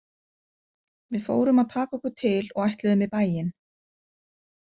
Við fórum að taka okkur til og ætluðum í bæinn.